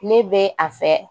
Ne bɛ a fɛ